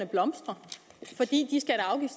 blomstrer fordi